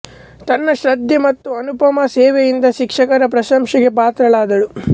ತನ್ನ ಶ್ರದ್ಧೆ ಮತ್ತು ಅನುಪಮ ಸೇವೆಯಿಂದ ಶಿಕ್ಷಕರ ಪ್ರಶಂಸೆಗೆ ಪಾತ್ರಳಾದಳು